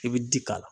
I bi ji k'a la